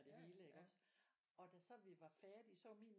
Det hele iggås og da så vi var færdige så var min